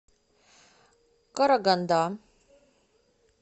караганда